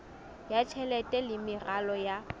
ya tjhelete le meralo ya